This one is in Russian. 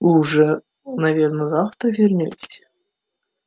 вы же уже наверное завтра вернётесь